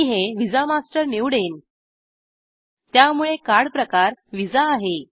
मी हे visa master निवडेन त्यामुळे कार्ड प्रकार विसा आहे